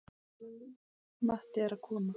Matti er að koma!